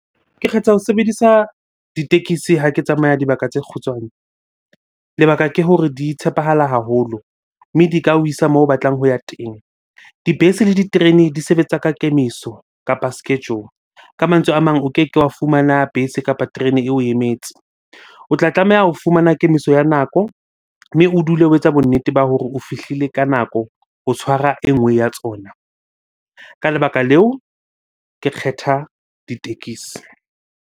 Ke kgetha ho sebedisa ditekisi ha ke tsamaya dibaka tse kgutshwane. Lebaka ke hore di tshepahala haholo, mme di ka o isa moo o batlang ho ya teng. Dibese le diterene di sebetsa ka kemiso kapa schedule. Ka mantswe a mang o keke wa fumana bese kapa terene eo o emetse. O tla tlameha ho fumana kemiso ya nako mme o dule o etsa bonnete ba hore o fihlile ka nako ho tshwara e nngwe ya tsona. Ka lebaka leo ke kgetha ditekesi.